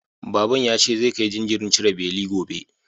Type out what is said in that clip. Baban ya ce zai kai jinjirin cire beli gobe.